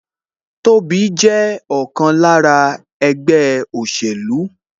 Tobi jẹ́ ọ̀kan lára ẹgbẹ́ òṣèlú